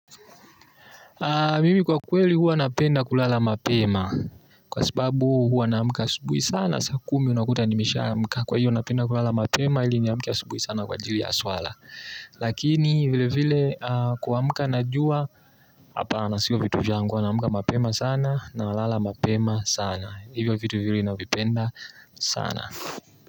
Mimi kwa kweli huwa napenda kulala mapema. Kwa sababu huwa na amka asubuhi sana saa kumi unakuta nimesha amka kwa hiyo napenda kulala mapema ili niamke asubuhi sana kwa ajili ya swala. Lakini vile vile kuamka najua. Hapana sio vitu vyangu huwa na amka mapema sana. Na lala mapema sana. Hivyo vitu viwili navipenda sana.